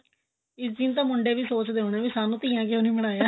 ਇਸ ਦਿਨ ਤਾਂ ਮੁੰਡੇ ਵੀ ਸੋਚਦੇ ਹੋਣੇ ਕੇ ਸਾਨੂੰ ਧੀਆਂ ਕਿਉਂ ਨੀ ਬਣਾਇਆ